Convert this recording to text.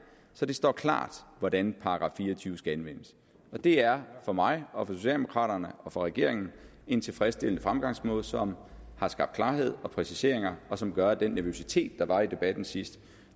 så det står klart hvordan § fire og tyve skal anvendes og det er for mig og for socialdemokraterne og for regeringen en tilfredsstillende fremgangsmåde som har skabt klarhed og præciseringer og som gør at den nervøsitet der var i debatten sidst